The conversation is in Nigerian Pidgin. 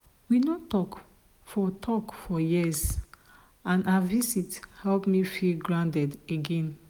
we no talk for talk for years and her visit help me feel grounded again.